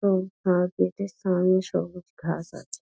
উম- তার গেট -এর সামনে সবুজ ঘাস আছে |